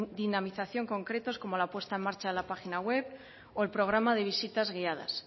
dinamización concretos como la puesta en marcha de la página web o el programa de visitas guiadas